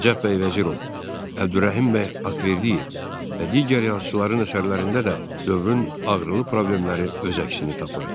Nəcəf bəy Vəzirov, Əbdürrəhim bəy Haqverdiyev və digər yazıçılarının əsərlərində də dövrün ağrılı problemləri öz əksini tapırdı.